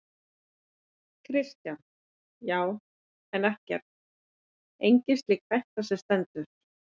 Kristján: Já, en ekkert, engin slík hætta sem stendur?